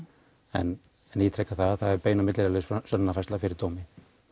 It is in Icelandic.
en ég ítreka það að það er bein og milliliðalaus sönnunarfærsla fyrir dómi